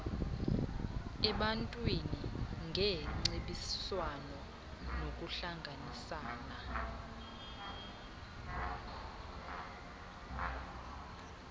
ebantwini ngeengcebiswano nokuhlanganisana